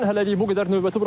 Bizdən hələlik bu qədər.